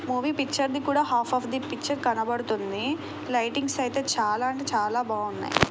Movie picture ది కూడా half of the picture కనపడుతుంది. లైటింగ్ అయితే చాలా అంటే చాలా బాగున్నాయి.